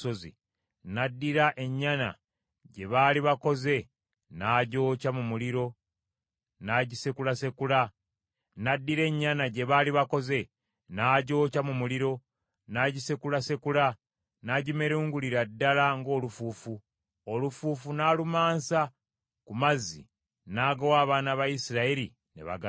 N’addira ennyana gye baali bakoze n’agyokya mu muliro n’agisekulasekula, n’agimerungulira ddala ng’olufuufu; olufuufu n’alumansa ku mazzi n’agawa abaana ba Isirayiri ne baganywa.